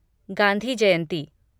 Gandhi Jayanti